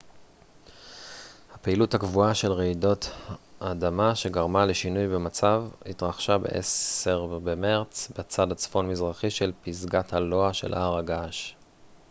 הפעילות הגבוהה של רעידות אדמה שגרמה לשינוי במצב התרחשה ב-10 במרץ בצד הצפון-מזרחי של פסגת הלוע של הר הגעש